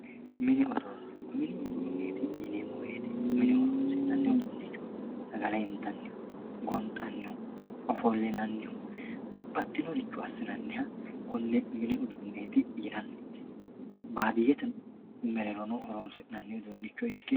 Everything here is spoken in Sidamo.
Mini uduune mini uduuneti yineeo woyite mine horonsinani udunichoti sagale intanihu gonxanihu ofolinanihu babaxinoricho asinaniha kone mini uduuneti yinani baadiyete mereerono horonsinaniha ike